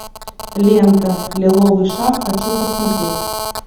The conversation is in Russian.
лента лиловый шар хочу посмотреть